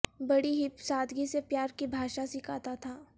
بڑی ہی سادگی سے پیار کی بھاشا سکھاتا تھا